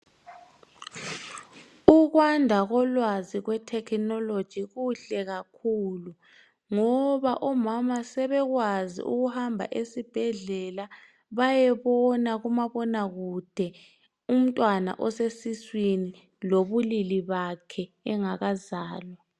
Ukwanda kolwazi lwe technology kuhle kakhulu ngoba omama sebekwazi ukuhamba esibhedlela bayebona kumabonakude umntwana osesiswini lobulilil bakhe engakazalwa.